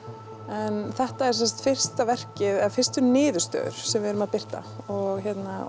en þetta er sem sagt fyrsta verkið eða fyrstu niðurstöður sem við erum að birta og